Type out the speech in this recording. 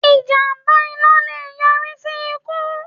Ìjàmbá iná le è yọrí sí ikú